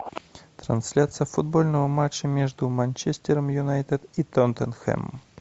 трансляция футбольного матча между манчестером юнайтед и тоттенхэмом